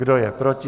Kdo je proti?